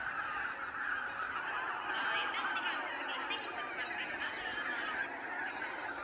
okay madam எத்தனை மணிக்கு அனுப்புவீங்க இன்னைக்கு send பண்றீங்களா இல்லன்னா நாளைக்கு send பண்றீங்களா madam